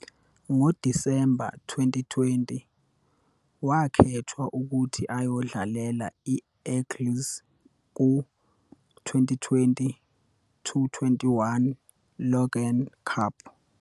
NgoDisemba 2020, wakhethwa ukuthi ayodlalela i-Eagles ku- 2020-21 Logan Cup.